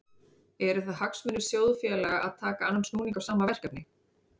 Eru það hagsmunir sjóðfélaga að taka annan snúning á sama verkefni?